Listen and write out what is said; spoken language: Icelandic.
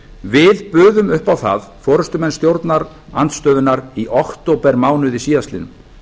við buðum upp á það forustumenn stjórnarandstöðunnar í októbermánuði síðastliðnum